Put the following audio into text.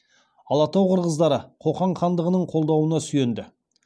алатау қырғыздары қоқан хандығының қолдауына сүйенді